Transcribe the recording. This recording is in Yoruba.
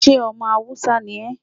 ṣé omọ Hausa ní é?